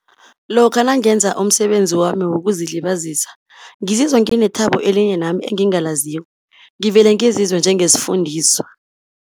Lokha nangenza umsebenzi wami wokuzilibazisa, ngizizwa nginethabo elinye nami engingalaziko, ngivele ngizizwe njengesifundiswa.